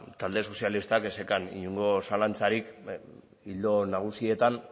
talde sozialistak ez zeukan inongo zalantzarik ildo nagusietan